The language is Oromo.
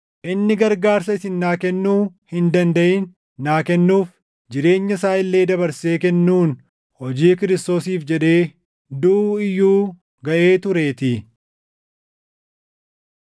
inni gargaarsa isin naa kennuu hin dandaʼin naa kennuuf, jireenya isaa illee dabarsee kennuun, hojii Kiristoosiif jedhee duʼuu iyyuu gaʼee tureetii.